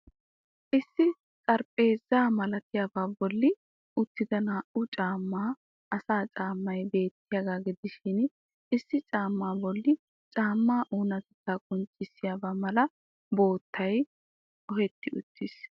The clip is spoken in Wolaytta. Issi xaraphpheezza malattiyaabaa bolli uttida naa'u macca asaa caammay beettiyaaga gidishin issi caamma boli caammaa onatettaa qonccissiyaabaa mala boottabay ohetti uttiis.